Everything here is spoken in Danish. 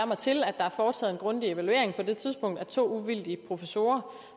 mig til at der er foretaget en grundig evaluering på det tidspunkt af to uvildige professorer